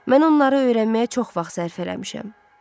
Mən onları öyrənməyə çox vaxt sərf eləmişəm.